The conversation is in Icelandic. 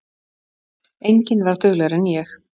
Enginn var duglegri en ég.